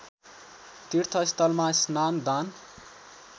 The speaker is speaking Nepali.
तीर्थस्थलमा स्नान दान